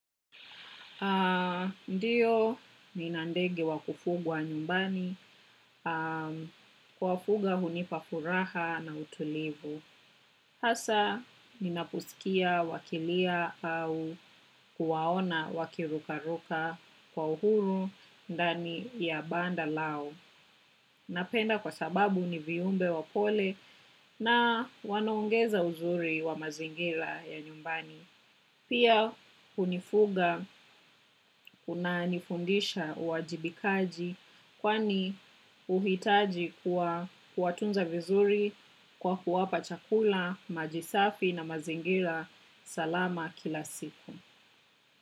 Ndiyo nina ndege wa kufugwa nyumbani. Kuwafuga hunipa furaha na utulivu. Hasa ninaposikia wakilia au kuwaona wakirukaruka kwa uhuru ndani ya banda lao. Napenda kwa sababu ni viumbe wapole na wanaongeza uzuri wa mazingira ya nyumbani. Pia, kufuga kunanifundisha uwajibikaji kwani huhitaji kuwatunza vizuri kwa kuwapa chakula, maji safi na mazingira salama kila siku.